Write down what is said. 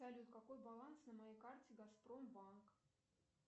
салют какой баланс на моей карте газпром банк